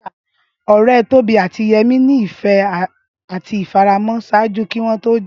Ọrẹ Tobi ati Yemi ni ifẹ ati ifaramọ ṣaaju ki wọn to ja.